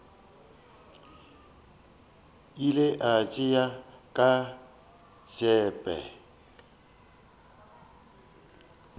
ile a tšea ka tsebe